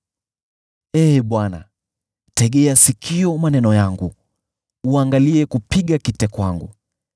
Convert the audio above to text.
Ee Bwana , tegea sikio maneno yangu, uangalie kupiga kite kwangu.